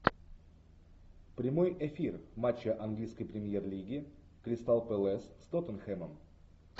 прямой эфир матча английской премьер лиги кристал пэлас с тоттенхэмом